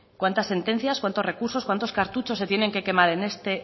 cuántas sentencias cuántos recursos cuántos cartuchos se tienen que quemar